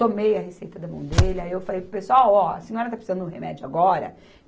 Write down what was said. Tomei a receita da mão dele, aí eu falei pessoal, ó, a senhora está precisando de um remédio agora